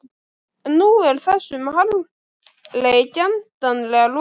En nú er þessum harmleik endanlega lokið.